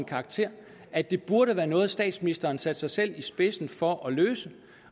karakter at det burde være noget statsministeren satte sig i spidsen for at løse